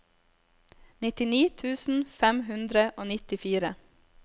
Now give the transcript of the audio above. nittini tusen fem hundre og nittifire